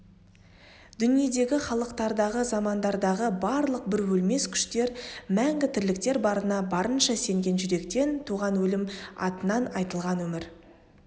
дүниедегі халықтардағы замандардағы барлық бір өлмес күштер мәңгі тірліктер барына барынша сенген жүректен туған өлім атынан айтылған өмір